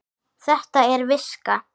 Þetta er viska!